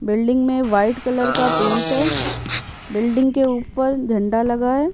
Building में white colour का paint है बिल्डिंग के ऊपर झंडा लगा है।